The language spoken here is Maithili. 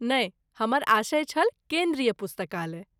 नहि, हमर आशय छल केन्द्रीय पुस्तकालय।